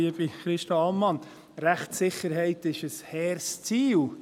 Liebe Christa Ammann: Rechtssicherheit ist ein hehres Ziel.